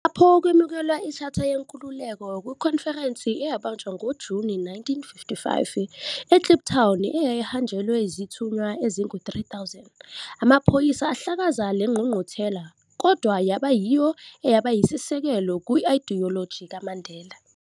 Lapho kwemukelwa ishatha yenkululeko kwikhonferense eyabanjwa ngoJuni 1955, e-Kliptown eyayihanjelwe zithunywa ezingu 3000, amaphoyisa ahlakaza le ngqungquthela, kodwa yaba yiyo eyabayisisekelo se-idiyoloji kaMandela.